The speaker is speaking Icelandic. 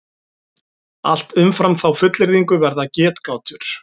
Allt umfram þá fullyrðingu verða getgátur.